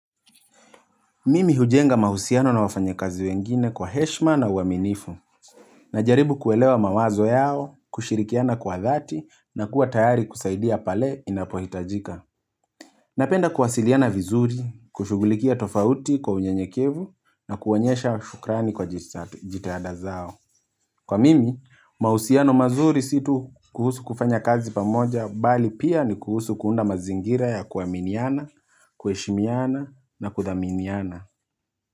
Mimi hujenga mahusiano na wafanyikazi wengine kwa heshima na uwaminifu. Najaribu kuelewa mawazo yao, kushirikiana kwa dhati na kuwa tayari kusaidia pale inapohitajika. Napenda kuwasiliana vizuri, kushugulikia tofauti kwa unyanyekevu na kuwaonyesha shukrani kwa jitada zao. Kwa mimi, mahusiano mazuri situ kuhusu kufanya kazi pamoja bali pia ni kuhusu kuunda mazingira ya kuaminiana, kuheshimiana na kuthaminiana.